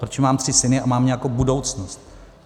Protože mám tři syny a mám nějakou budoucnost.